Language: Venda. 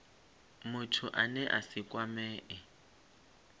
muthu ane a si kwamee